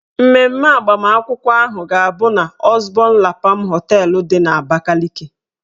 Mmemme agbamakwụkwọ ahụ ga-abụ n' Ọzbọn La Pam họteelụ dị n'Abakaliki.